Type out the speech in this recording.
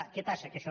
què passa que això